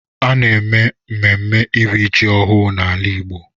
A na-eme mmemme iri ji ọhụụ n’ala igbo